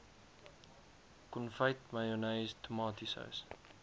konfyt mayonnaise tomatiesous